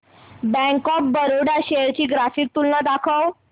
bank of Baroda shares ची graphical तुलना दाखव